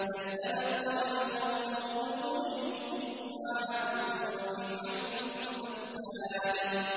كَذَّبَتْ قَبْلَهُمْ قَوْمُ نُوحٍ وَعَادٌ وَفِرْعَوْنُ ذُو الْأَوْتَادِ